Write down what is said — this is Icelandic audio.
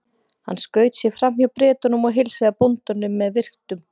Hann skaut sér fram hjá Bretunum og heilsaði bóndanum með virktum.